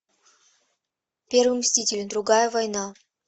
первый мститель другая война